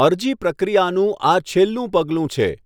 અરજી પ્રક્રિયાનું આ છેલ્લું પગલું છે.